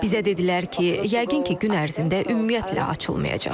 Bizə dedilər ki, yəqin ki, gün ərzində ümumiyyətlə açılmayacaq.